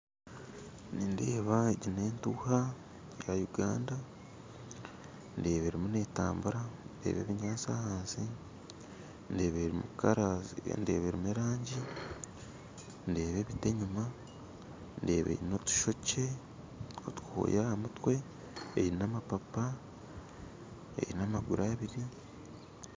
Nindeeba egi n'etuuha ya Uganda ndeeba arimu netambura ndeeba ebinyatsi ahansi ndeeba erimu erangi ndeeba ebiti enyuma ndeeba aine otwoya aha mutwe aine amapaapa aine amaguru abiri